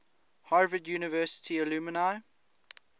harvard university alumni